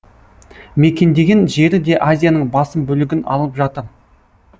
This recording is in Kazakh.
мекендеген жері де азияның басым бөлігін алып жатыр